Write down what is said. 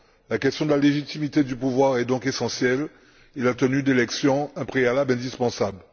La question de la légitimité du pouvoir est donc essentielle et la tenue d'élections un préalable indispensable.